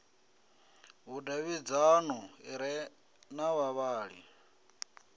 vhudavhidzano ḓi re na vhavhali